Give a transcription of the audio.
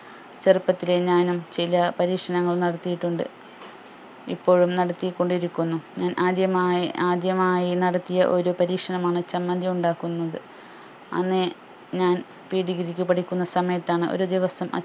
ചെറുപ്പത്തിലേ ഞാനും ചില പരീക്ഷണങ്ങൾ നടത്തിയിട്ടുണ്ട് ഇപ്പോഴും നടത്തി കൊണ്ടിരിക്കുന്നു ഞാൻ ആദ്യമായി ആദ്യമായി നടത്തിയ ഒരു പരീക്ഷണമാണ് ചമ്മന്തി ഉണ്ടാക്കുന്നത് അന്ന് ഞാൻ pre degree ക്ക് പഠിക്കുന്ന സമയത്താണ് ഒരു ദിവസം